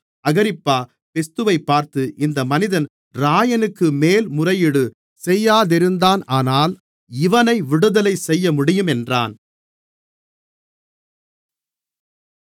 அகிரிப்பா பெஸ்துவைப் பார்த்து இந்த மனிதன் இராயனுக்கு மேல்முறையீடு செய்யாதிருந்தானானால் இவனை விடுதலை செய்யமுடியும் என்றான்